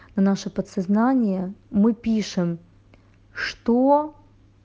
наше подсознание мы пишем что